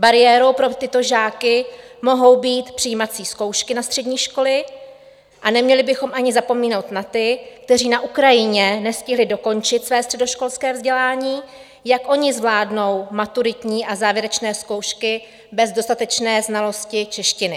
Bariérou pro tyto žáky mohou být přijímací zkoušky na střední školy a neměli bychom ani zapomínat na ty, kteří na Ukrajině nestihli dokončit své středoškolské vzdělání, jak oni zvládnou maturitní a závěrečné zkoušky bez dostatečné znalosti češtiny.